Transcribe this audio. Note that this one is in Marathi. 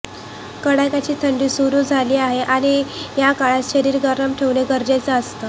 कडाक्याची थंडी सुरु झाली आहे आणि या काळात शरीर गरम ठेवणं गरजेचं असतं